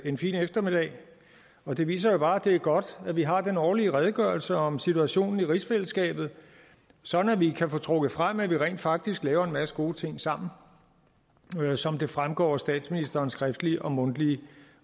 en fin eftermiddag og det viser bare at det er godt at vi har den årlige redegørelse om situationen i rigsfællesskabet så vi kan få trukket frem at vi rent faktisk laver en masse gode ting sammen som det fremgår af statsministerens skriftlige og mundtlige